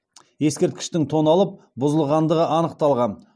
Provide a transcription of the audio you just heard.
ескерткіштің тоналып бұзылғандығы анықталған